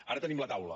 ara tenim la taula